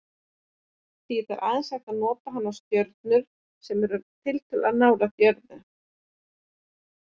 Því er aðeins hægt að nota hana á stjörnur sem eru tiltölulega nálægt jörðu.